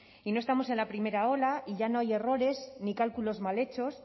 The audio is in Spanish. y no estamos en la primera ola y ya no hay errores ni cálculos mal hechos